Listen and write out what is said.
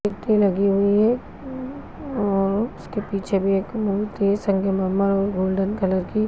मूर्ति लगी हुई है और उसके पीछे भी एक मूर्ति गोल्डन कलर की--